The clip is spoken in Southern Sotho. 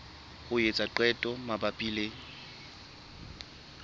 ho etsa qeto mabapi le